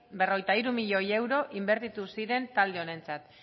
berrogeita hiru milioi euro inbertitu ziren talde honentzat